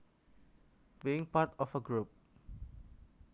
Being part of a group